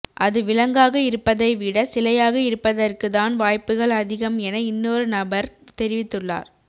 அது விலங்காக இருப்பதை விட சிலையாக இருப்பதற்கு தான் வாய்ப்புகள் அதிகம் என இன்னொரு நபர் தெரிவித்துள்ளார்